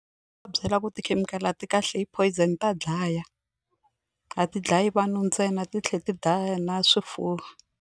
Byela ku tikhemikhali a ti kahle i poison ta dlaya a ti dlayi vanhu ntsena ti tlhela ti dlaya na swifuwo.